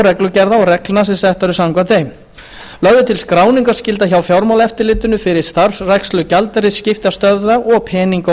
reglugerða og reglna sem settar eru samkvæmt þeim lögð er til skráningarskylda hjá fjármálaeftirlitinu fyrir starfrækslu gjaldeyrisskiptastöðva og peninga og